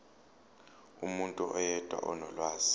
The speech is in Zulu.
umuntu oyedwa onolwazi